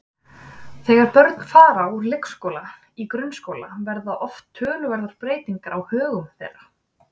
Þegar börn fara úr leikskóla í grunnskóla verða oft töluverðar breytingar á högum þeirra.